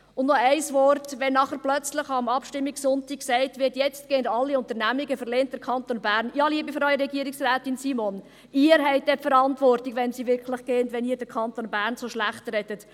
Und noch ein Wort: Wenn plötzlich am Abstimmungssonntag gesagt wird, jetzt würden alle Unternehmungen den Kanton Bern verlassen – ja, liebe Frau Regierungsrätin Simon –, dann haben Sie die Verantwortung, wenn diese wirklich gehen, wenn Sie den Kanton Bern so schlechtreden.